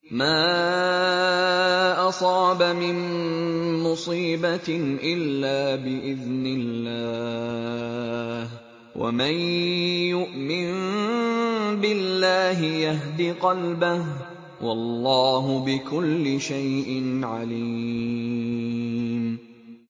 مَا أَصَابَ مِن مُّصِيبَةٍ إِلَّا بِإِذْنِ اللَّهِ ۗ وَمَن يُؤْمِن بِاللَّهِ يَهْدِ قَلْبَهُ ۚ وَاللَّهُ بِكُلِّ شَيْءٍ عَلِيمٌ